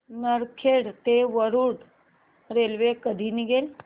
नरखेड ते वरुड रेल्वे कधी निघेल